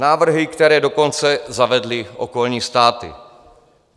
Návrhy, které dokonce zavedly okolní státy.